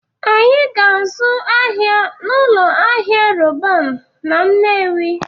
Anyị ga-azụ ahịa n'ụlọ ahịa Roban na Nnewi